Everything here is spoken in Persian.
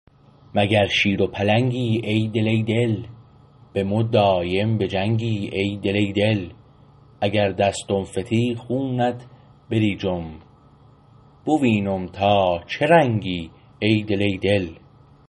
مگر شیر و پلنگی ای دل ای دل به مو دایم به جنگی ای دل ای دل اگر دستم فتی خونت بریجم بوینم تا چه رنگی ای دل ای دل